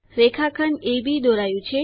રેખાખંડ અબ દોરાયું છે